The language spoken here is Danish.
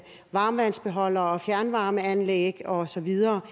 varmtvandsbeholdere og fjernvarmeanlæg og så videre